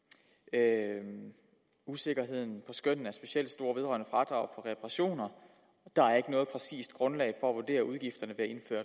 at usikkerheden på skønnet er specielt stor vedrørende fradrag på reparationer der er ikke noget præcist grundlag for at vurdere udgifterne